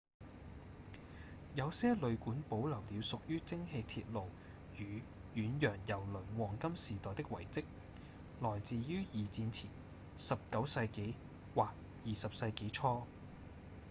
有些旅館保留了屬於蒸氣鐵路與遠洋郵輪黃金時代的遺跡來自於二戰前19世紀或20世紀初